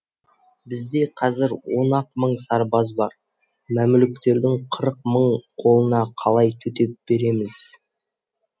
бізде қазір он ақ мың сарбаз бар мәмлүктердің қырық мың қолына қалай төтеп береміз